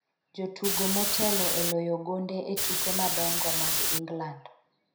jotugo motelo e loyo gonde e tuke madongo mag Ingland